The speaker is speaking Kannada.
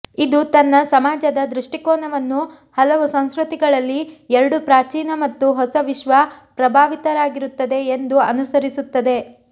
ಇದು ತನ್ನ ಸಮಾಜದ ದೃಷ್ಟಿಕೋನವನ್ನು ಹಲವು ಸಂಸ್ಕೃತಿಗಳಲ್ಲಿ ಎರಡೂ ಪ್ರಾಚೀನ ಮತ್ತು ಹೊಸ ವಿಶ್ವ ಪ್ರಭಾವಿತವಾಗಿರುತ್ತದೆ ಎಂದು ಅನುಸರಿಸುತ್ತದೆ